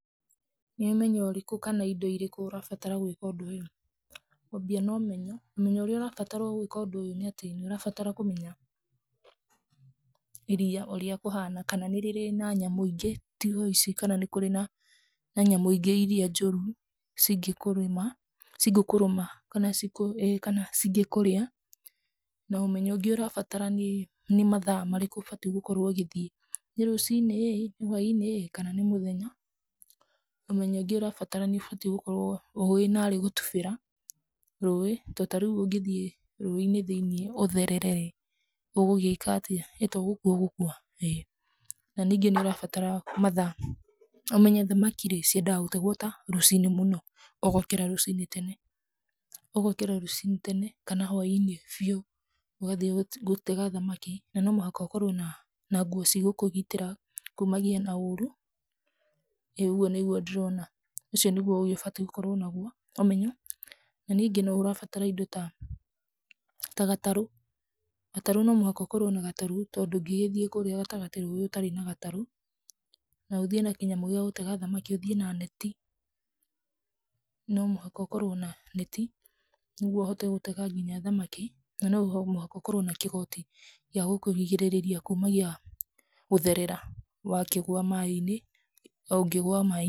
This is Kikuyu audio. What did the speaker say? Nĩ ũmenyo ũrĩku kana indo irĩkũ ũrabatara gwĩka ũndũ ũyũ? Ngwambia na ũmenyo, ũmenyo ũrĩa ũrabatara gũĩka ũndũ ũyũ nĩ atĩ nĩ ũrabatara kũmenya iria ũrĩa kũhana, kana nĩ rĩrĩ na nyamũ ingĩ tiga ici, kana nĩ kũrĩ na nyamũ ingĩ iria njũru cingĩkũrũma kana cingĩkũrĩa. Na ũmenyo ũngĩ ũrabatara nĩ mathaa marĩkũ ũbatiĩ gũthiĩ, nĩ rũcinĩ ĩ, nĩ hwainĩ ĩ, kana nĩ mũthenya. Ũmenyo ũngĩ urabatara nĩ ũbatiĩ gũkorwo ũĩ narĩ gũtubĩra rũĩ, to tarĩu ũngĩthiĩ rũĩ-inĩ thĩinĩ ũtherere ĩ, ũgũgĩka atĩa? ĩto gũkua ũgũkua? ĩĩ. Na ningĩ nĩ ũrabatara mathaa, ũmenye thamaki rĩ, ciendaga gũtegwo ta rũcinĩ mũno, ũgokĩra rũcinĩ tene. Ũgokĩra rũcinĩ tene kana hwainĩ biũ ũgathiĩ gũtega thamaki. Na no mũhaka ũkorwo na nguo cigũkũgitĩra kumania na ũru, ĩĩ ũguo nĩguo ndĩrona. Ũcio nĩguo ũbatiĩ gũkorwo naguo ũmenyo. Na ningĩ nĩ ũrabatara indo ta gatarũ, gatarũ no mũhaka ũkorwo na gatarũ tondũ ndũngĩgĩthiĩ kũrĩa gatagatĩ ũtarĩ na gatarũ, na ũthiĩ na kĩnyamũ gĩa gũtega thamaki, ũthiĩ na neti. No mũhaka ũkorwo na neti nĩguo ũhote gũtega nginya thamaki, no mũhaka ũkorwo na kĩgoti gĩa gũkũrigĩrĩria kumagia gũtherera ũngĩgũa maĩ-inĩ.